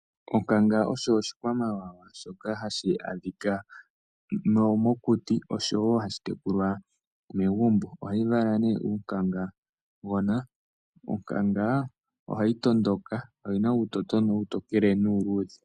Onkanga osho oshikwamawawa shoka hashi adhika mokuti oshowo hashi tekulwa momagumbo. Onkanga ohayi vala nee uunkangagona. Onkanga ohayi tondoka. Oyi na uutotona uutokele nuuluudhe.